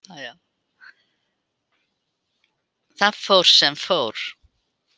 Það fór sem fór.